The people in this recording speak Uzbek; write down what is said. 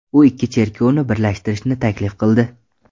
U ikki cherkovni birlashtirishni taklif qildi.